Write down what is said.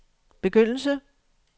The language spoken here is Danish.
begyndelse